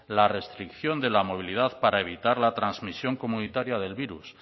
la restricción de la movilidad para evitar la transmisión comunitaria del virus